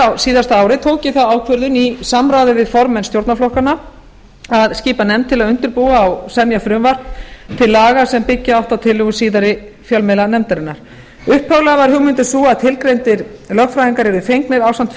á síðasta ári tók ég þá ákvörðun í samráði við formenn stjórnarflokkanna að skipa nefnd til að undirbúa og semja frumvarp til laga sem byggja átti á tillögum síðari fjölmiðlanefndarinnar upphaflega var hugmyndin sú að tilgreindir lögfræðingar yrðu fengnir ásamt